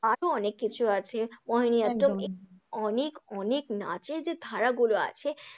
আরও অনেক কিছু আছে, ওহেনি একদম নাট্যম, অনেক অনেক নাচের যে ধারা গুলো আছে,